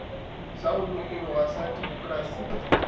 sa go lokologa sa demokrasi